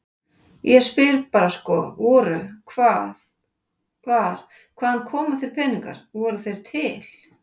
Ég spyr bara sko voru, hvað, hvar, hvaðan koma þeir peningar, voru þeir til?